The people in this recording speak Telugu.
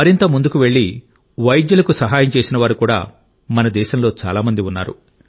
మరింత ముందుకు వెళ్ళి వైద్యులకు సహాయం చేసేవారు కూడా మన దేశంలో చాలా మంది ఉన్నారు